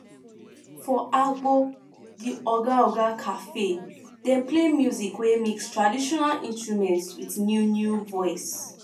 for um di um cafe dem play music wey mix traditional instrument with new new voice